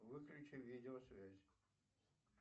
выключи видеосвязь